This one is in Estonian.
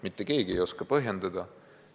Mitte keegi ei oska põhjendada.